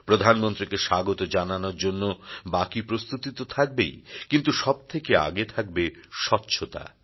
প্রধানমন্ত্রীকে স্বাগত জানানোর জন্য বাকি প্রস্তুতি তো থাকবেই কিন্তু সবথেকে আগে থাকবে স্বচ্ছতা